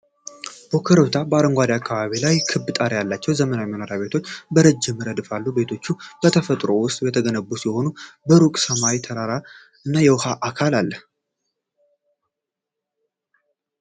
በኮረብታማና በአረንጓዴ አካባቢዎች ላይ ክብ ጣሪያ ያላቸው ዘመናዊ መኖሪያ ቤቶች በረጅም ረድፍ አሉ። ቤቶቹ በተፈጥሮ ውስጥ የተገነቡ ሲሆን፣ ከሩቅ ሰማያዊ ተራሮች እና የውሃ አካል አለ።